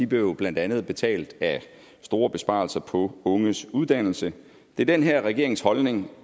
blev jo blandt andet betalt af store besparelser på unges uddannelse det er den her regerings holdning